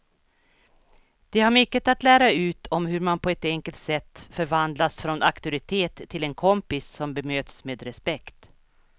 De har mycket att lära ut om hur man på ett enkelt sätt förvandlas från auktoritet till en kompis som bemöts med respekt.